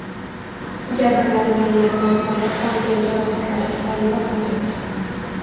Jabrlanganlardan biri olgan jarohatlari tufayli vafot etdi.